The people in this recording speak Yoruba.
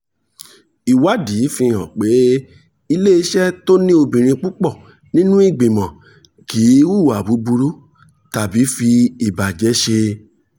ìwádìí fi hàn pé iléeṣẹ́ tó ní obìnrin púpọ̀ nínú ìgbìmọ̀ kì í hùwà búburú tàbí fi ìbàjẹ́ ṣe.